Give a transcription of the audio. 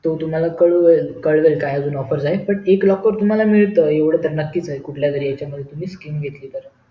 तो तुम्हाला कळवेल काय अजून offer आहेत ते पण एक locker तुम्हाला मिळत एवढा तर नक्की आहे कुठल्यातरी तुम्ही skim घेतली तर